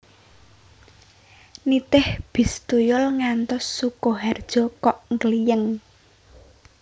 Nitih bis tuyul ngantos Sukoharjo kok nggliyeng